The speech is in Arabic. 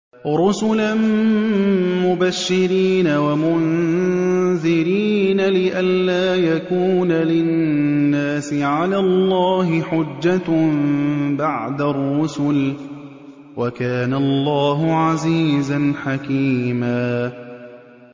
رُّسُلًا مُّبَشِّرِينَ وَمُنذِرِينَ لِئَلَّا يَكُونَ لِلنَّاسِ عَلَى اللَّهِ حُجَّةٌ بَعْدَ الرُّسُلِ ۚ وَكَانَ اللَّهُ عَزِيزًا حَكِيمًا